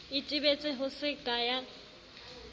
itebetse ho se ya ka